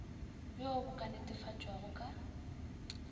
bjoo bo ka netefatpwago ka